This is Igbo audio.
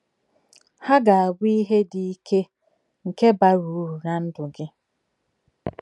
Ha ga-abụ ihe dị ike, nke bara uru ná ndụ gị.